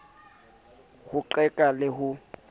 a ho qeka le ho